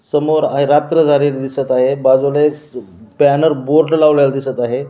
समोर रात्र झालेली दिसत आहे बाजूला एक बॅनर बोर्ड लावलेला दिसत आहे.